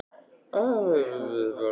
Þetta var hann Bárður í útgerðinni.